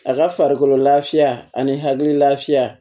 A ka farikolo lafiya ani hakili lafiya